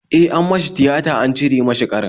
E, an masa tiyata an cire mishi ƙarin